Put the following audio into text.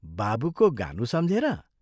बाबुको गानु सम्झेर?